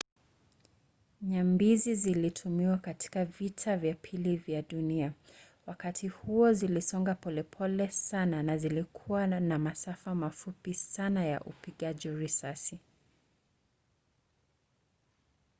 nyambizi zilitumiwa katika vita vya pili vya dunia. wakati huo zilisonga polepole sana na zilikuwa na masafa mafupi sana ya upigaji risasi